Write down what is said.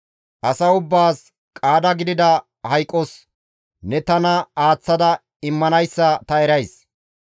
Asa ubbaas qaada gidida hayqos ne tana aaththada immanayssa ta erays.